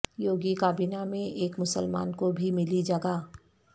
یوگی کابینہ میں ایک مسلمان کو بھی ملی جگہ